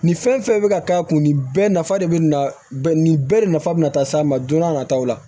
Nin fɛn fɛn bɛ ka k'a kun nin bɛɛ nafa de bɛ na nin bɛɛ de nafa bɛna ta s'a ma don n'a nataw la